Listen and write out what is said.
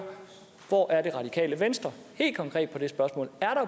hvor er det radikale venstre helt konkret i det spørgsmål er